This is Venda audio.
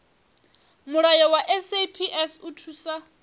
mulayo wa saps u thusa